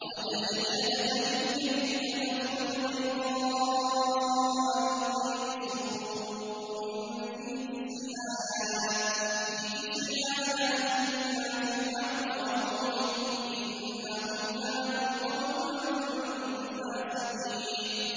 وَأَدْخِلْ يَدَكَ فِي جَيْبِكَ تَخْرُجْ بَيْضَاءَ مِنْ غَيْرِ سُوءٍ ۖ فِي تِسْعِ آيَاتٍ إِلَىٰ فِرْعَوْنَ وَقَوْمِهِ ۚ إِنَّهُمْ كَانُوا قَوْمًا فَاسِقِينَ